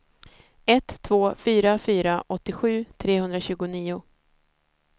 ett två fyra fyra åttiosju trehundratjugonio